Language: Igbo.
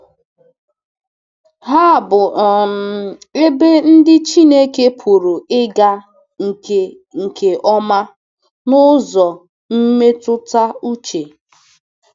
Ha bụ um ebe ndị Chineke pụrụ ịga nke nke ọma n’ụzọ mmetụta uche.